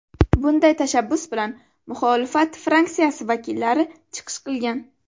Bunday tashabbus bilan muxolifat fraksiyasi vakillari chiqish qilgan.